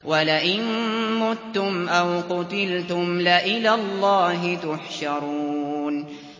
وَلَئِن مُّتُّمْ أَوْ قُتِلْتُمْ لَإِلَى اللَّهِ تُحْشَرُونَ